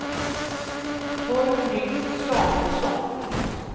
Torgny Samuelsson